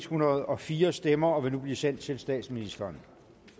hundrede og fire stemmer og vil nu blive sendt til statsministeren